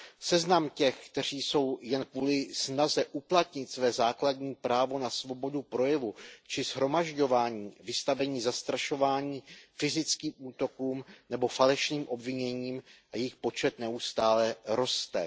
Seznam těch, kteří jsou jen kvůli snaze uplatnit své základní právo na svobodu projevu či shromažďování vystaveni zastrašování, fyzickým útokům nebo falešným obviněním, je dlouhý a jejich počet neustále roste.